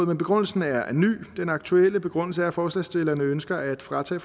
men begrundelsen er ny den aktuelle begrundelse er at forslagsstillerne ønsker at fratage